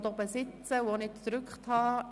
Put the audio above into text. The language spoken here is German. Die Regierung möchte die Motion annehmen.